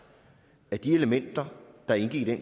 at de elementer der indgik i